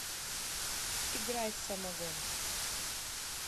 играй самогон